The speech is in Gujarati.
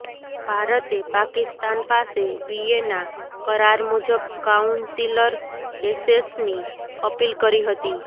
ભારતે પાકિસ્તાન પાસે વિયેના કરાર મુજબ કાઉન્સિલર એસેસની અપીલ કરી હતી